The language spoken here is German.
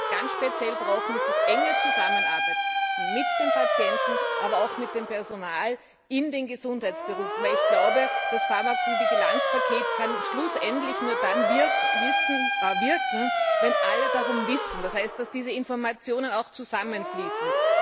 Was wir ganz speziell brauchen, ist das enge Zusammenarbeiten mit dem Patienten, aber auch mit dem Personal in den Gesundheitsberufen, denn ich glaube, das Pharmakovigilanzpaket kann schlussendlich nur dann wirken, wenn alle darum wissen, das heißt, dass diese Informationen auch zusammenfließen.